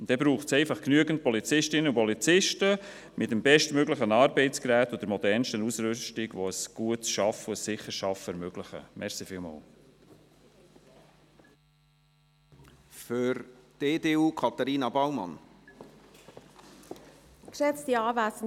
Dann braucht es einfach genügend Polizistinnen und Polizisten, mit dem bestmöglichen Arbeitsgerät und der modernsten Ausrüstung, die ein gutes und sicheres Arbeiten ermöglichen.